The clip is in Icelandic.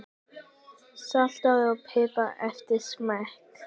Saltaðu og pipraðu eftir smekk.